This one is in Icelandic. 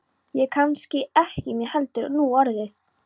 Og kannski ekki mér heldur núorðið.